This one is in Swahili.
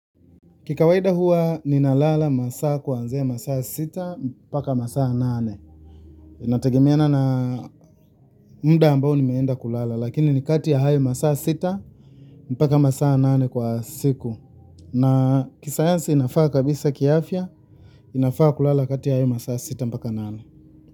Kwa kawaida huwa ninalala masaa kuanzia masaa sita mpaka masaa nane. Inategemeana na muda ambao nimeenda kulala, lakini ni kati ya hayo masaa sita mpaka masaa nane kwa siku. Na kisayansi inafaa kabisa kiafya, inafaa kulala kati ya hayo masaa sita mpaka nane.